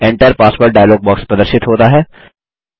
Enter password dialog box प्रदर्शित होता है